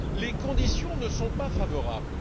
les conditions ne sont pas favorables.